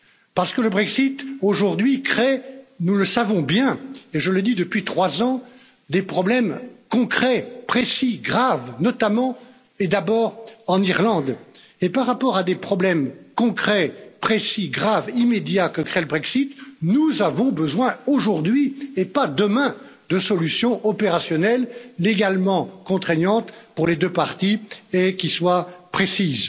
Parce que le Brexit aujourd'hui crée nous le savons bien et je le dis depuis trois ans des problèmes concrets, précis, graves, notamment, et d'abord en Irlande et par rapport à des problèmes concrets, précis, graves, immédiats que crée le Brexit, nous avons besoin aujourd'hui et pas demain de solutions opérationnelles légalement contraignantes pour les deux parties et qui soient précises.